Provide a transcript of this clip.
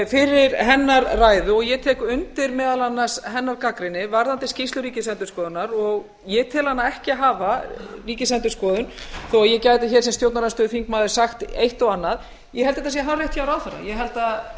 fyrir hennar ræðu ég tek undir meðal annars hennar gagnrýni varðandi skýrslu ríkisendurskoðunar ég tel hana ekki hafa ríkisendurskoðun þó ég gæti hér sem stjórnarandstöðuþingmaður sagt eitt og annað ég held það sé hárrétt hjá ráðherranum ég held að ríkisendurskoðun